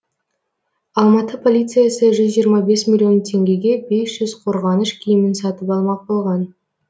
алматы полициясы жүз жиырма бес миллион теңгеге бес жүз қорғаныш киімін сатып алмақ болған